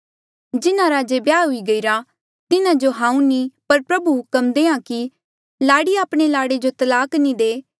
जिन्हारा जे ब्याह हुई गईरा तिन्हा जो हांऊँ नी पर प्रभु हुक्म देहां कि लाड़ी आपणे लाड़े जो तलाक नी दे